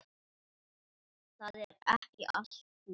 Það er ekki allt búið.